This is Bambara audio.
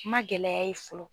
N man gɛlɛya ye fɔlɔ.